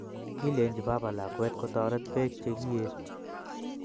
Kilenji baba lakwet kotoret beek chegiie